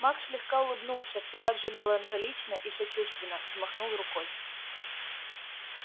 маг слегка улыбнулся все так же меланхолично и сочувственно взмахнул рукой